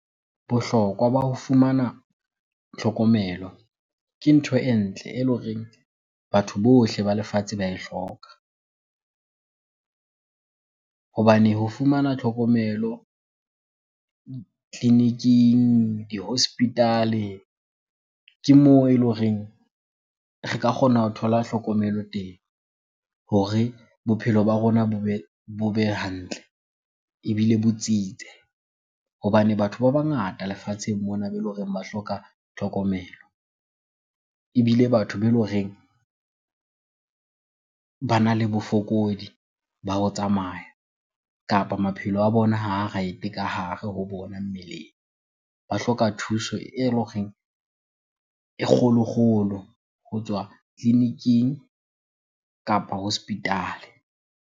Bohlokwa ba ho fumana tlhokomelo ke ntho e ntle ele horeng batho bohle ba lefatshe ba e hloka. Hobane ho fumana tlhokomelo tleliniking, di hospital-e ke moo ele horeng re ka kgona ho thola hlokomelo teng hore bophelo ba rona bo be hantle ebile bo tsitse. Hobane batho ba bangata lefatsheng mona bele horeng ba hloka tlhokomelo. Ebile batho be loreng bana le bofokodi ba ho tsamaya kapa maphelo a bona ha a right-e ka hare ho bona mmeleng. Ba hloka thuso eloreng e kgolo-kgolo ho tswa tleliniking kapa hospital-e.